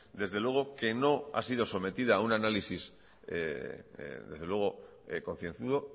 desde luego que no ha sido sometida a un análisis desde luego concienzudo